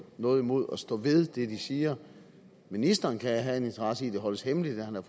noget imod at stå ved det de siger ministeren kan have en interesse i at det holdes hemmeligt at